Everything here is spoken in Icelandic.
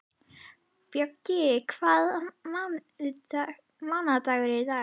Bjöggi, hvaða mánaðardagur er í dag?